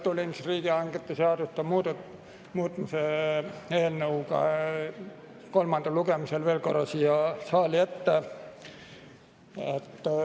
Tulin riigihangete seaduse muutmise eelnõu kolmandal lugemisel veel korra siia saali ette.